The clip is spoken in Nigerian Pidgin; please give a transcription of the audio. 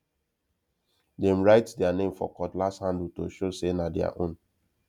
dem write their name for cutlass handle to show say na their own